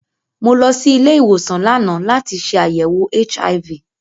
Mo lọ sí ilé-ìwòsàn lánàá láti ṣe àyèwò HIV.